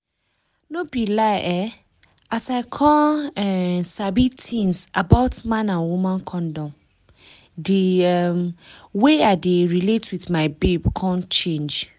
no be lie um as i come um sabi tins about man and woman condom di um way i dey relate with my babe come change